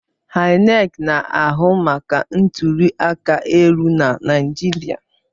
INEC na-ahụ maka ntụli aka elu na Naịjirịa.